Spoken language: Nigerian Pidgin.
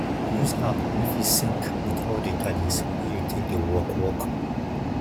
use app wey fit sync with all di gadgets wey you take dey work work